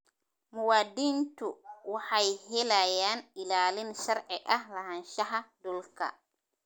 Muwaadiniintu waxay helayaan ilaalin sharci ah lahaanshaha dhulka.